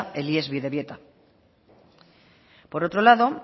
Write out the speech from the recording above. el ies bidebieta por otro lado